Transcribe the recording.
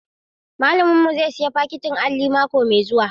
Malamin mu zai sayi fakitin alli mako mai zuwa.